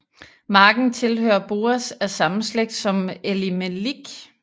Marken tilhører Boaz af samme slægt som Elimelik